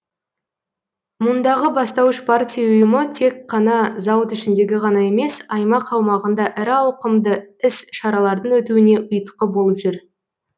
мұндағы бастауыш партия ұйымы тек қана зауыт ішіндегі ғана емес аймақ аумағында ірі ауқымды іс шаралардың өтуіне ұйытқы болып жүр